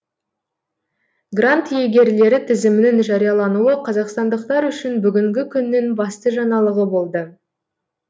грант иегерлері тізімінің жариялануы қазақстандықтар үшін бүгінгі күннің басты жаңалығы болды